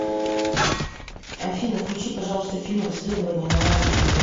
афина включи пожалуйста фильм расследование навального